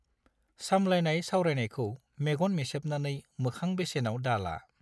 सामलायनाय सावरायनायखौ मेगन मेसेबनानै मोखां बेसेनआव दाला।